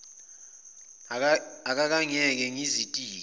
akake angiyeke ngizitike